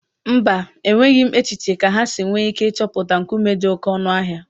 Mba, enweghị m echiche kà há si nwee ike ịchọpụta nkume dị oké ọnụ ahịa